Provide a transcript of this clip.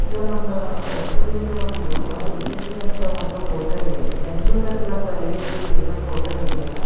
ಇದು ನಮ್ಮ ರೈಚೂರ್ ದು ಒಂದು ಐ ಡಿ ಸಿ ಅಂತ ಒಂದು ಹೋಟೆಲ್ ಇದೆ ಬೆಂಗಳೂರ್ ಅಲ್ಲಿ I D C famous hotel ಇದೆ ಅಲ್ಲ.